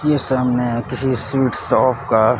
ये सब नया किसी स्वीट शॉप का--